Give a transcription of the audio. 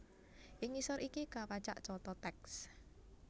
Ing ngisor iki kapacak conto tèks